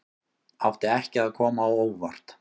Átti ekki að koma á óvart